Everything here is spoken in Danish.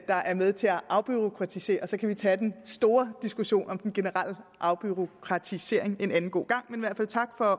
der er med til at afbureaukratisere og så kan vi tage den store diskussion om den generelle afbureaukratisering en anden god gang men tak for